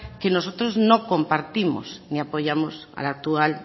que nosotros no compartimos ni apoyamos a la actual